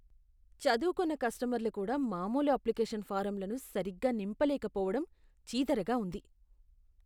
చదువుకున్న కస్టమర్లు కూడా మామూలు అప్లికేషన్ ఫారమ్లను సరిగ్గా నింపలేకపోవడం చీదరగా ఉంది.